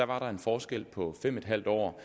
var der en forskel på fem en halv år